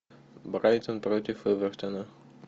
брайтон против эвертона